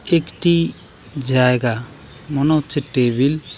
একটি জায়গা মনে হচ্ছে টেবিল ।